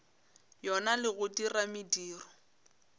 yona le go dira mediro